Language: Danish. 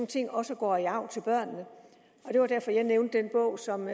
ting også går i arv til børnene og det var derfor jeg nævnte den bog som